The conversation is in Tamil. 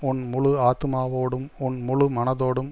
உன் முழு ஆத்துமாவோடும் உன் முழு மனதோடும்